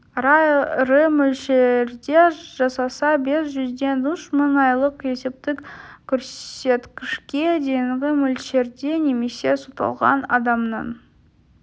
аса ірі мөлшерде жасаса бес жүзден үш мың айлық есептік көрсеткішке дейінгі мөлшерде немесе сотталған адамның